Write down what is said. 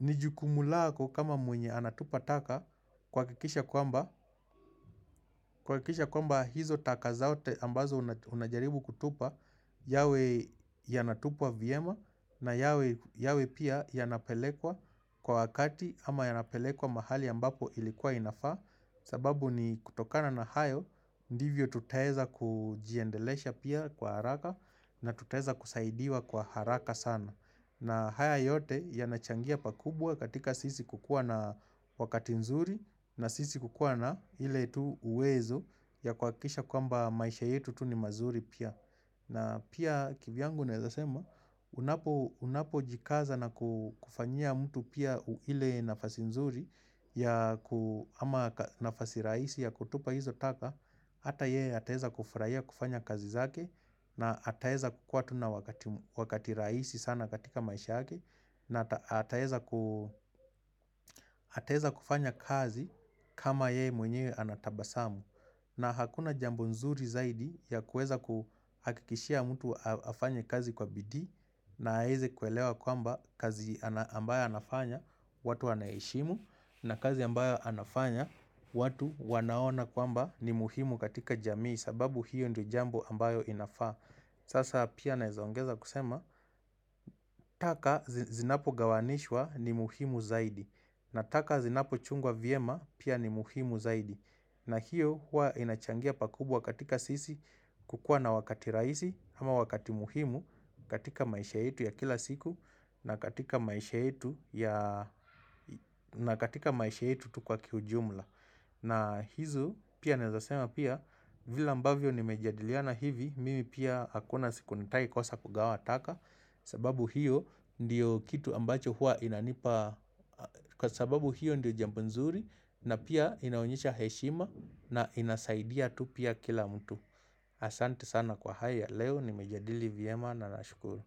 ni jukumulako kama mwenye anatupa taka kuhakikisha kwamba hizo taka zote ambazo unajaribu kutupa yawe yanatupwa vyema na yawe pia yanapelekwa kwa wakati ama yanapelekwa mahali ambapo ilikuwa inafaa sababu ni kutokana na hayo ndivyo tutaweza kujiendelesha pia kwa haraka na tutaweza kusaidiwa kwa haraka sana na haya yote yanachangia pakubwa katika sisi kukua na wakati nzuri na sisi kukuwana ile tu uwezo ya kwa kisha kwamba maisha yetu tu ni mazuri pia. Na pia kivyangu nawezasema, unapo jikaza na kufanyia mtu pia ile nafasi nzuri ya ku ama nafasi rahisi ya kutupa hizo taka, hata yeye ataweza kufurahia kufanya kazi zake na hata weza kukua tu na wakati rahisi sana katika maisha yake na ataeza kufanya kazi kama yeye mwenyewe anatabasamu. Na hakuna jambo nzuri zaidi ya kuueza kuhakikishia mtu afanye kazi kwa bidii na aeze kuelewa kwamba kazi ambayo anafanya watu wanaheshimu na kazi ambayo anafanya watu wanaona kwamba ni muhimu katika jamii sababu hiyo ndio jambo ambayo inafaa. Sasa pia naezaongeza kusema taka zinapo gawanishwa ni muhimu zaidi na taka zinapo chungwa vyema pia ni muhimu zaidi na hiyo hua inachangia pakubwa katika sisi kukua na wakati rahisi ama wakati muhimu katika maisha yetu ya kila siku na katika maisha yetu ya na katika maisha yetu tu kwa kiujumla. Na hizo pia nawezasema pia vile ambavyo nimejadiliana hivi mimi pia hakuna siku nitai kosa kugawa taka sababu hiyo ndiyo kitu ambacho hua inanipa Kwa sababu hiyo ndiyo jambo nzuri na pia inaonyesha heshima na inasaidia tu pia kila mtu Asante sana kwa haya leo nimejadili vyema na nashukuru.